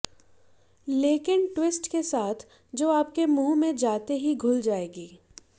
लेकिन ट्विस्ट के साथ जो आपके मुंह में जाते ही घुल जाएगी